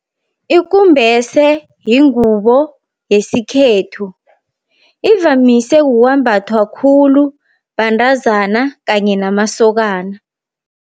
Ikumbese yingubo yesikhethu, ivamise kukwambathwa khulu bantazana kanye namasokana.